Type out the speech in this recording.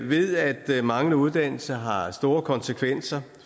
ved at manglende uddannelse har store konsekvenser